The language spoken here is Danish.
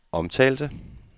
omtalte